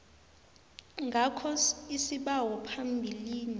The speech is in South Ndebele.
ngakho isibawo phambilini